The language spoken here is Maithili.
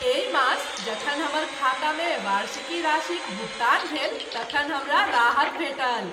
एहि मास जखन हमर खातामे वार्षिकी राशिक भुगतान भेल तखन हमरा राहत भेटल।